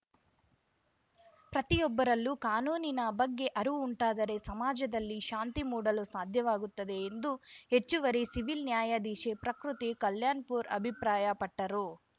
ಪ್ರತಿಯೊಬ್ಬರಲ್ಲೂ ಕಾನೂನಿನ ಬಗ್ಗೆ ಅರಿವು ಉಂಟಾದರೆ ಸಮಾಜದಲ್ಲಿ ಶಾಂತಿ ಮೂಡಲು ಸಾಧ್ಯವಾಗುತ್ತದೆ ಎಂದು ಹೆಚ್ಚುವರಿ ಸಿವಿಲ್‌ ನ್ಯಾಯಾಧೀಶೆ ಪ್ರಕೃತಿ ಕಲ್ಯಾಣ್‌ಪುರ್‌ ಅಭಿಪ್ರಾಯಪಟ್ಟರು